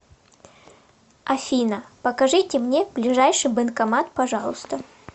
афина покажите мне ближайший банкомат пожалуйста